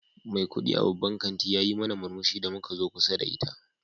Mai kudi a babban kanti yayi mana murmushi da muka zo kusa da ita.